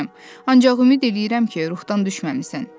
Ancaq ümid eləyirəm ki, ruhdan düşməmisən.